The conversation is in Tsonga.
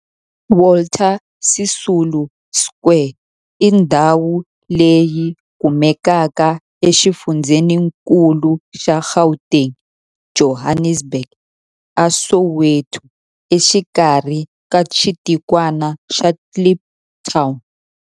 Walter Sisulu Square i ndhawu leyi kumekaka exifundzheninkulu xa Gauteng, Johannesburg, a Soweto, exikarhi ka xitikwana xa Kliptown.